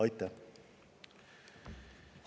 Aitäh!